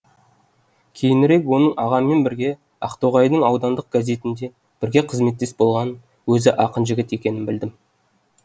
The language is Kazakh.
кейінірек оның ағаммен бірге ақтоғайдың аудандық газетінде бірге қызметтес болғанын өзі ақын жігіт екенін білдім